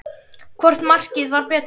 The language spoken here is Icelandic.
Hvort markið var betra?